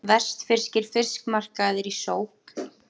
Vestfirskir fiskmarkaðir í sókn